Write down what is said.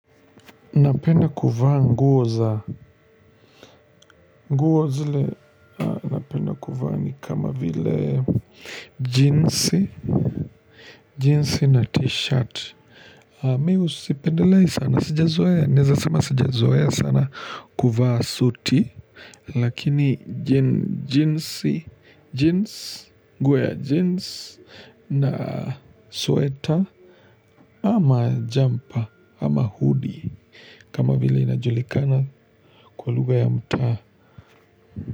Napenda kuvaa nguo za nguo zile napenda kuvaa ni kama vile ji jinsi na t-shirt. Mimi sipendelei sana. Sijazoea, naeza sema sijazoea sana kuvaa suti. Lakini jeans, jeans, nguo ya jeans na sweta ama jumper ama hoodie. Kama vile inajulikana kwa lugha ya mtaa.